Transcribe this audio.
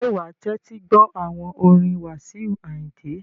Ṣé wa tẹ́tí gbọ́ àwọn orin Wasiu Ayinde?